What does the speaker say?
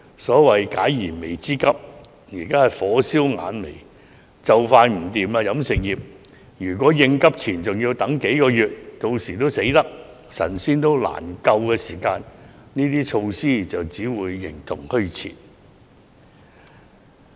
所謂解燃眉之急，現在是火燒眼眉，飲食業店鋪就快不行，如果應急錢還要等幾個月，到店鋪快倒閉、神仙也難救時，有關措施只會形同虛設。